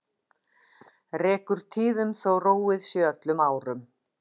Rekur tíðum þó róið sé öllum árum.